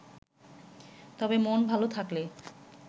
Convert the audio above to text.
তবে মন ভালো থাকলে